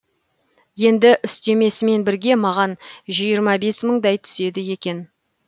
енді үстемесімен бірге маған жиырма бес мыңдай түседі екен